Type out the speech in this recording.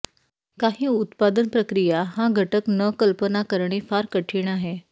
काही उत्पादन प्रक्रिया हा घटक न कल्पना करणे फार कठीण आहे